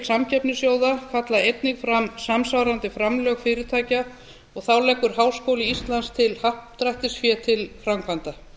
samkeppnissjóða kalla einnig fram samsvarandi framlög fyrirtækja og þá leggur háskóli íslands til happdrættisfé til framkvæmda